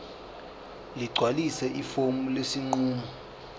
ligcwalise ifomu lesinqumo